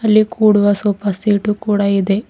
ಇಲ್ಲಿ ಕೂಡುವ sofa set ಕೂಡ ಇದೆ.